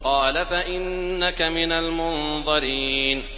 قَالَ فَإِنَّكَ مِنَ الْمُنظَرِينَ